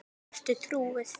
Ertu trúuð?